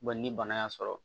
ni bana y'a sɔrɔ